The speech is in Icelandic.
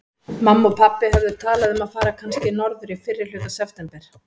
Mamma og pabbi höfðu talað um að fara kannski norður í fyrrihluta september.